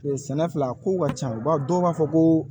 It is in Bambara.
Sɛnɛ filɛ a ko ka ca u b'a dɔw b'a fɔ ko